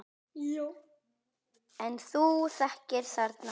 En þú þekkir þarna fólk?